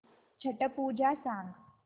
छट पूजा सांग